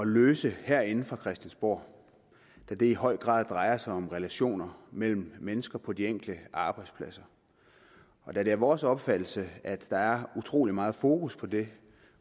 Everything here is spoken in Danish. løse herinde fra christiansborg da det i høj grad drejer sig om relationer mellem mennesker på de enkelte arbejdspladser da det er vores opfattelse at der er utrolig meget fokus på det